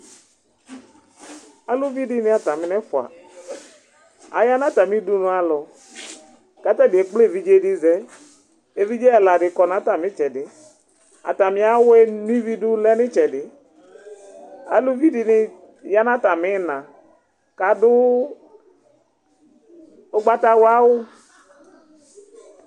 Aluvi dini ata mi nu ɛfʋa, aya nu ata mi ɖunu alɔ, ku ata ni ekple evidze di zɛ , evidze ɛla di kɔ nu ata mi tsɛdi, ata mi awʋɛ nʋivi du lɛ nu itsɛdi, aluvi dini ya nu ata mi ina, kadu ugbata wla awu